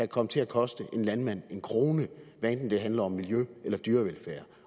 komme til at koste en landmand en krone hvad enten det handler om miljø eller dyrevelfærd